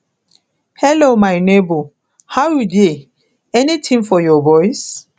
hello my nebor how you dey anytin for your boys